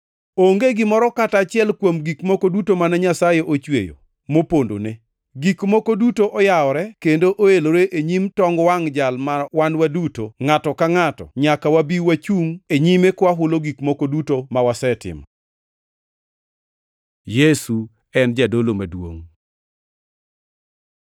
Onge gimoro kata achiel, kuom gik moko duto mane Nyasaye ochweyo, mopondone. Gik moko duto oyawore kendo oelore e nyim tong wangʼ Jal ma wan duto, ngʼato ka ngʼato, nyaka wabi wachungʼ e nyime kwahulo gik moko duto ma wasetimo. Yesu en Jadolo Maduongʼ